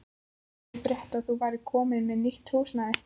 Ég frétti að þú værir komin með nýtt húsnæði.